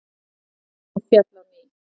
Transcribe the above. Hún féll á ný.